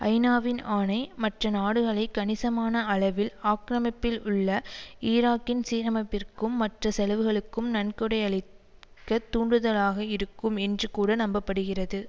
ஐநாவின் ஆணை மற்ற நாடுகளைக் கணிசமான அளவில் ஆக்கிமிப்பில் உள்ள ஈராக்கின் சீரமைப்பிற்கும் மற்ற செலவுகளுக்கும் நன்கொடையளிக்கத் தூண்டுதலாக இருக்கும் என்று கூட நம்ப படுகிறது